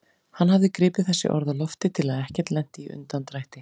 Hann hafði gripið þessi orð á lofti til að ekkert lenti í undandrætti.